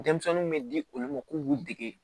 Denmisɛnninw bɛ di olu ma k'u b'u dege